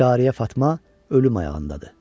Cariyə Fatma ölüm ayağındadır.